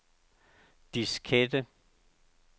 diskette